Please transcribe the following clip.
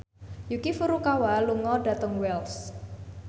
Yuki Furukawa lunga dhateng Wells